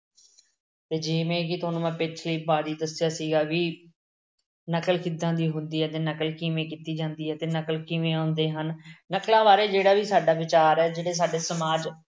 ਜਿਵੇਂ ਕਿ ਤੁਹਾਨੂੰ ਮੈਂ ਪਿਛਲੀ ਵਾਰੀ ਦੱਸਿਆ ਸੀਗਾ ਕਿ ਨਕਲ ਕਿਦਾਂ ਦੀ ਹੁੰਦੀ ਹੈ ਅਤੇ ਨਕਲ ਕਿਵੇਂ ਕੀਤੀ ਜਾਂਦੀ ਹੈ ਅਤੇ ਨਕਲ ਕਿਵੇਂ ਆਉਂਦੇ ਹਨ। ਨਕਲਾਂ ਬਾਰੇ ਜਿਹੜਾ ਵੀ ਸਾਡਾ ਵਿਚਾਰ ਹੈ ਜਿਵੇਂ ਸਾਡੇ ਸਮਾਜ